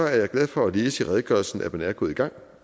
jeg glad for at læse i redegørelsen at man er gået i gang